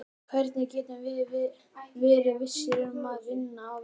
Hvernig getum við verið vissir um að vinna á vellinum?